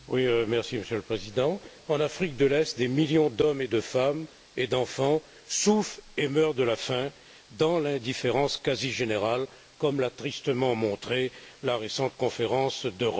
Monsieur le Président, en Afrique de l'Est, des millions d'hommes, de femmes et d'enfants souffrent et meurent de la faim dans l'indifférence presque générale, comme l'a tristement montré la récente conférence de Rome.